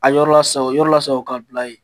A yɔrɔ lasago o yɔrɔ laago ka bila yen.